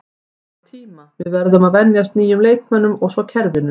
Það þarf tíma, við verðum að venjast nýjum leikmönnum og svo kerfinu.